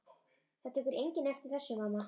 Það tekur enginn eftir þessu, mamma.